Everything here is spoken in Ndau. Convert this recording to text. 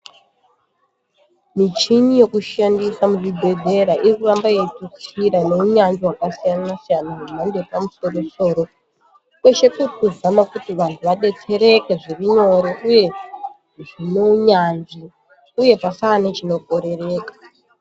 Michini yokushandisa muzvibhedhlera irikuramba yeitutsira neunyanzvi hwakasiyana siyana hwemhando yepamusoro soro kweshe kuri kuzama kuti vantu vadetsereke zvirinyore uye zvinounyanzvi uye pasaa nechinokorereka.